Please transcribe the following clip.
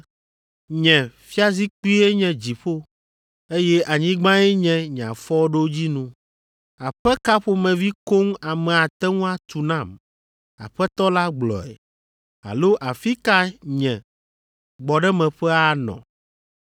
“ ‘Nye fiazikpuie nye dziƒo, eye anyigbae nye nye afɔɖodzinu. Aƒe ka ƒomevi koŋ ame ate ŋu atu nam? Aƒetɔ la gblɔe. Alo Afi ka nye gbɔɖemeƒe anɔ?